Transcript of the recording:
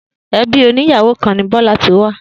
Ebí òní ìyàwó kan ni Bọ́lá ti wá